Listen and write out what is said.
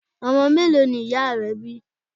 Ọmọ mélòó ni ìyá rẹ bí.